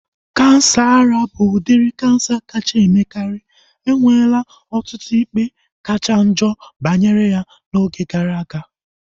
Kansa ara bụ udiri kansa kacha emekari. Enwela ọtụtụ ikpe kachanjo banyere ya na oge gara aga